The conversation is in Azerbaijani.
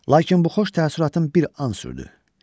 Lakin bu xoş təəssüratın bir an sürdü.